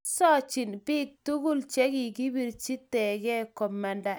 kisochini biik tugul che kikibirchi tege komanda eng' mbarenikwak